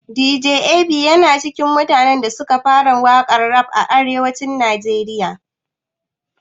Dj Ab yana cikin mutanen da suka fara waƙan rap a arewacin najeriya